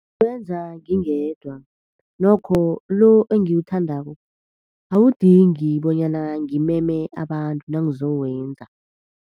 Ngiwenza ngingedwa. Nokho lo engiwuthandako awudingi bonyana ngimeme abantu nangizowenza.